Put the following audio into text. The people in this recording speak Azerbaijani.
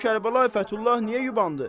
görüm Kərbəlayi Fəthullah niyə yubandı.